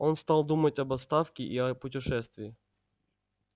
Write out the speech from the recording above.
он стал думать об отставке и о путешествии